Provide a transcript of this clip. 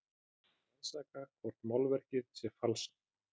Rannsaka hvort málverk sé falsað